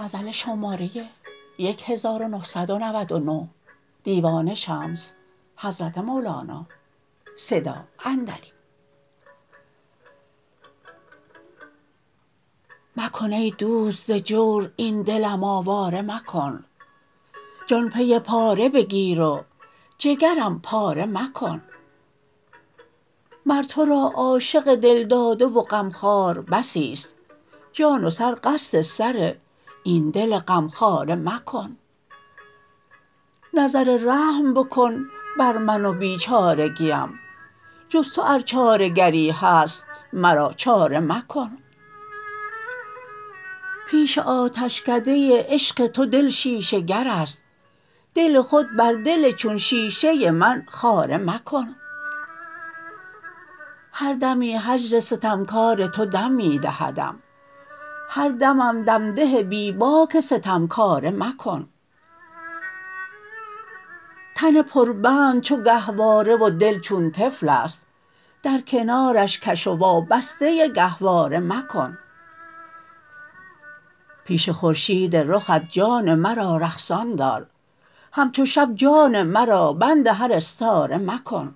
مکن ای دوست ز جور این دلم آواره مکن جان پی پاره بگیر و جگرم پاره مکن مر تو را عاشق دل داده و غمخوار بسی است جان و سر قصد سر این دل غمخواره مکن نظر رحم بکن بر من و بیچارگیم جز تو ار چاره گری هست مرا چاره مکن پیش آتشکده عشق تو دل شیشه گر است دل خود بر دل چون شیشه من خاره مکن هر دمی هجر ستمکار تو دم می دهدم هر دمم دم ده بی باک ستمکاره مکن تن پربند چو گهواره و دل چون طفل است در کنارش کش و وابسته گهواره مکن پیش خورشید رخت جان مرا رقصان دار همچو شب جان مرا بند هر استاره مکن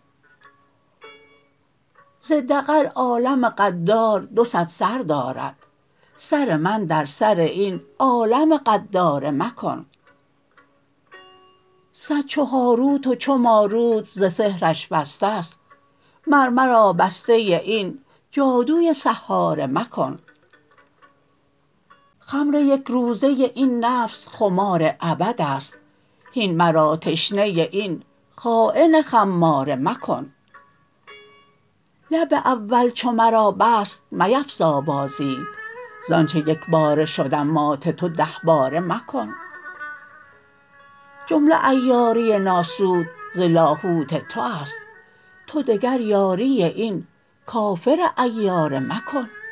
ز دغل عالم غدار دو صد سر دارد سر من در سر این عالم غداره مکن صد چو هاروت و چو ماروت ز سحرش بسته ست مر مرا بسته این جادوی سحاره مکن خمر یک روزه این نفس خمار ابد است هین مرا تشنه این خاین خماره مکن لعب اول چو مرا بست میفزا بازی ز آنچ یک باره شدم مات تو ده باره مکن جمله عیاری ناسوت ز لاهوت تو است تو دگر یاری این کافر عیاره مکن